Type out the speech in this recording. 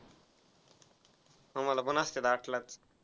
आम्हाला पण असतात आठलाच.